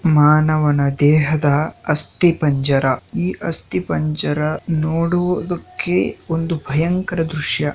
ಮಾನವನ ದೇಹದ ಅಸ್ಥಿಪಂಜರ ಈ ಅಸ್ಥಿಪಂಜರ ನೋಡೋದುಕ್ಕೆ ಒಂದು ಭಯಂಕರ ದೃಶ್ಯ.